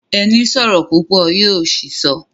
Ẹni sọ̀rọ̀ púpọ̀ yó ṣìsọ